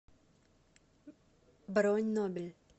бронь нобель